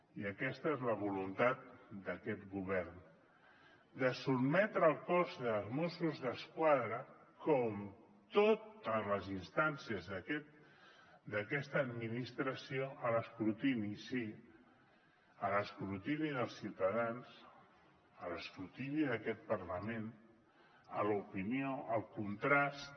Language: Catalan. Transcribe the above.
i aquesta és la voluntat d’aquest govern de sotmetre el cos dels mossos d’esquadra com totes les instàncies d’aquesta administració a l’escrutini sí a l’escrutini dels ciutadans a l’escrutini d’aquest parlament a l’opinió al contrast